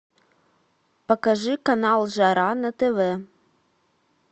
покажи канал жара на тв